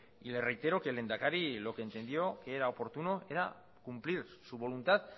y le reitero que el lehendakari lo que entendió que era oportuno era cumplir su voluntad